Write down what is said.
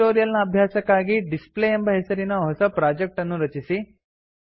ಈ ಟ್ಯುಟೋರಿಯಲ್ ನ ಅಭ್ಯಾಸಕ್ಕಾಗಿ ಡಿಸ್ಪ್ಲೇ ಎಂಬ ಹೆಸರಿನ ಹೊಸ ಪ್ರೊಜೆಕ್ಟ್ ಅನ್ನು ರಚಿಸಿ